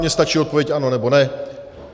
Mně stačí odpověď ano, nebo ne.